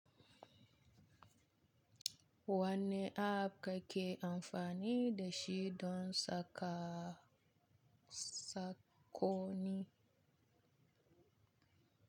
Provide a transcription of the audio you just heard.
Wani app ka ke amfani da shi don saka sakkonni?